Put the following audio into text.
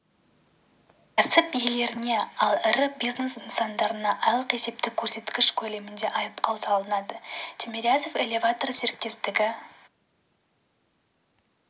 кәсіп иелеріне ал ірі бизнес нысандарына айлық есептік көрсеткіш көлемінде айыппұл салынады тимирязев элеваторы серіктестігі